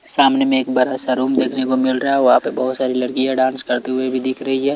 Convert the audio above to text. सामने में एक बारा सा रूम देखने को मिल रहा है वहां पे बहोत सारी लड़कियां डांस करते हुए भी दिख रही है।